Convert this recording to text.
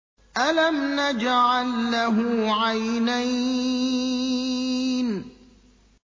أَلَمْ نَجْعَل لَّهُ عَيْنَيْنِ